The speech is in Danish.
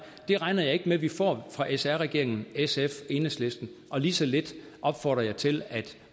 det regner jeg ikke med vi får fra sr regeringen sf og enhedslisten og lige så lidt opfordrer jeg til at